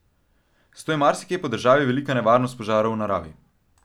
Zato je marsikje po državi velika nevarnost požarov v naravi.